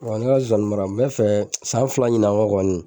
Wa n ka nzozani mara, n bɛ fɛ san fila ɲinɛ kɔ kɔni